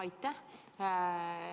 Aitäh!